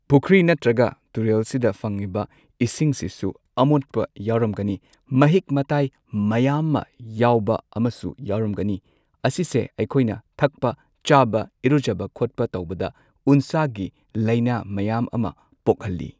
ꯄꯨꯈ꯭ꯔꯤ ꯅꯠꯇ꯭ꯔꯒ ꯇꯨꯔꯦꯜꯁꯤꯗ ꯐꯪꯉꯤꯕ ꯏꯁꯤꯡꯁꯤꯁꯨ ꯑꯃꯣꯠꯄ ꯌꯥꯎꯔꯝꯒꯅꯤ ꯃꯍꯤꯛ ꯃꯇꯥꯏ ꯃꯌꯥꯝꯃ ꯌꯥꯎꯕ ꯑꯃꯁꯨ ꯌꯥꯎꯔꯝꯒꯅꯤ ꯑꯁꯤꯁꯦ ꯑꯩꯈꯣꯏꯅ ꯊꯛꯄ ꯆꯥꯕ ꯏꯔꯨꯖꯕ ꯈꯣꯠꯄ ꯇꯧꯕꯗ ꯎꯟꯁꯥꯒꯤ ꯂꯩꯅꯥ ꯃꯌꯥꯝ ꯑꯃ ꯄꯣꯛꯍꯜꯂꯤ꯫